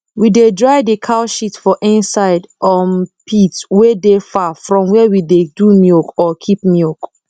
we dey dry d cow shit for inside um pit wey dey far from where we dey do milk or keep milk